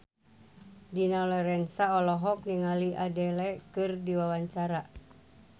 Dina Lorenza olohok ningali Adele keur diwawancara